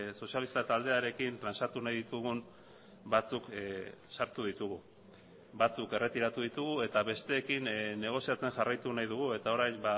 sozialista taldearekin trantsatu nahi ditugun batzuk sartu ditugu batzuk erretiratu ditugu eta besteekin negoziatzen jarraitu nahi dugu eta orain